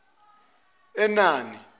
enani